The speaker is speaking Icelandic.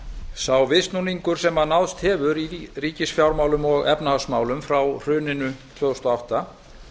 sá viðsnúningur sem náðst hefur í ríkisfjármálum og efnahagsmálum frá hruninu tvö þúsund og átta